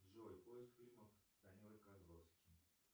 джой поиск фильмов с данилой козловским